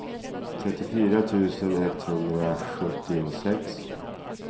trettiofyra tusen etthundrasjuttiosex